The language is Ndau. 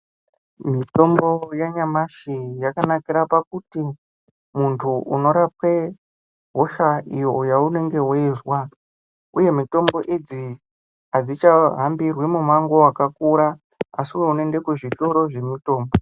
Mitombo yanyamashi yakanakira pakuti muntu unorapwe hosha iyo yaunenge weizwa uye mitombo idzi adzichahambirwi mumango wakakura asiwo unoende kuzvitoro zvemutombo.